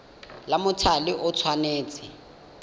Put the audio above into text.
la mothale o le tshwanetse